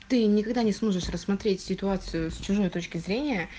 ты никогда не сможешь рассмотреть ситуацию с точки зрения